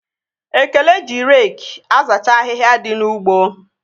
Ekene ji reki azacha ahịhịa dị n'ugbo